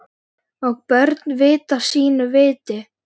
Og börn vita sínu viti.